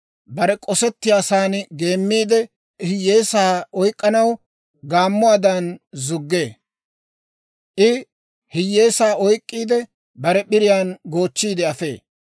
Bare k'osettiyaasan geemmiide, hiyyeesaa oyk'k'anaw gaammuwaadan zuggee. I hiyyeesaa oyk'k'iide, bare p'iriyaan goochchiide afee.